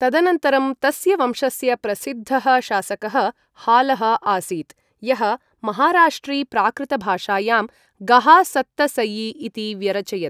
तदनन्तरं तस्य वंशस्य प्रसिद्धः शासकः हालः आसीत्, यः महाराष्ट्रीप्राकृतभाषायां गाहासत्तसई इति व्यरचयत्।